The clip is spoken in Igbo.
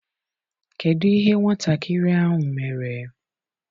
Kedụ ihe nwatakịrị ahụ mere?